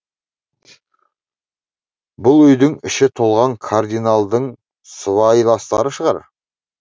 бұл үйдің іші толған кардиналдың сыбайластары шығар